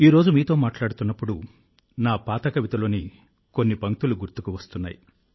ఈరోజు మీతో మాట్లాడుతున్నప్పుడు నా పాత కవితలోని కొన్ని పంక్తులు గుర్తుకు వస్తున్నాయి